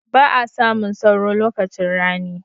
Ba'a samun sauro lokacin rani.